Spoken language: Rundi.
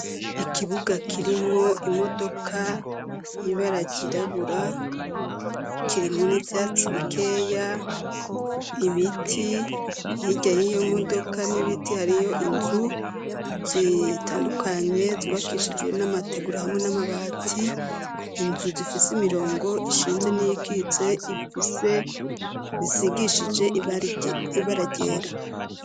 Ikibuga kirimwo imodoka y'ibara ryirabura kirimwo n'ivyatsi bikeya, ibiti hirya yiyo modoka n'ibiti hariyo inzu zitandukanye zibakishijwe n'amateguro hamwe n'amabati, inzu zifise imirongo ishinze n'iyikitse ifise isigishije ibara ryera.